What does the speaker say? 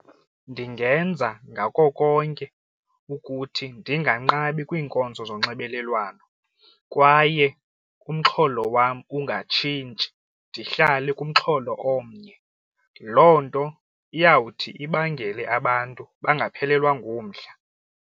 Ndingenza ngako konke ukuthi ndinganqabi kwiinkonzo zonxibelelwano kwaye umxholo wam ungatshintshi ndihlale kumxholo omnye loo nto iyawuthi ibangele abantu bangaphelelwa ngumdla.